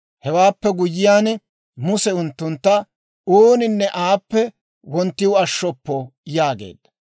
Hewaappe guyyiyaan Muse unttuntta, «Ooninne aappe wonttiw ashshoppo» yaageedda.